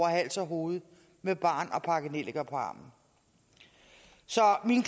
hals og hoved med barn og pakkenelliker på armen så min